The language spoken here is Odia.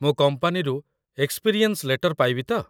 ମୁଁ କମ୍ପାନୀରୁ ଏକ୍‌ସ୍ପିରିଏନ୍ସ୍ ଲେଟର୍ ପାଇବି ତ?